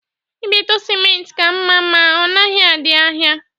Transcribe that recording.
Ibeto simenti ka mma ma na ọdịghị n'ahịa.